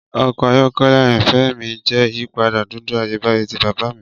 Ọkọ ayọkẹlẹ ayanfẹ mi jẹ iyipada dudu Ayebaye ti baba mi ni.